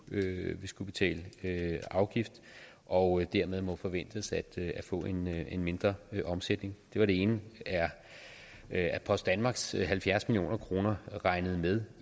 vil skulle betale afgift og dermed må forventes at få en mindre omsætning det var det ene er post danmarks halvfjerds million kroner regnet med